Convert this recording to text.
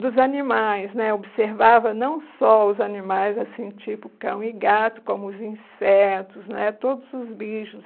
dos animais né, observava não só os animais assim tipo cão e gato, como os insetos né, todos os bichos.